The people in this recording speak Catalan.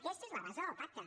aquesta és la base del pacte